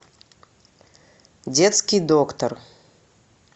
детский доктор